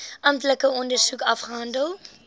amptelike ondersoek afgehandel